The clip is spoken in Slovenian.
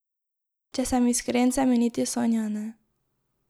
Če sem iskren, se mi niti sanja ne.